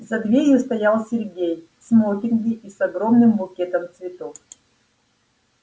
за дверью стоял сергей в смокинге и с огромным букетом цветов